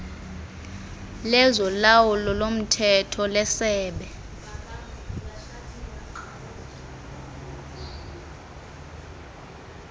lezolawulo lomthetho lesebe